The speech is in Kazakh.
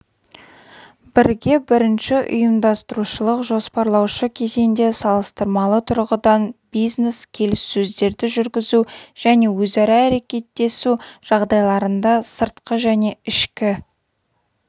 бірге бірінші ұйымдастырушылық-жоспарлаушы кезеңде салыстырмалы тұрғыдан бизнес-келіссөздерді жүргізу және өзара әрекеттесу жағдайларында сыртқы және ішкі